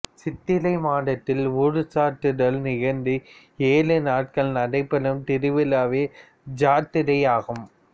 சித்திரை மாதத்தில் ஊர் சாட்டுதல் நிகழ்ந்து ஏழு நாட்கள் நடைபெறும் திருவிழாவே ஜாத்திரை ஆகும்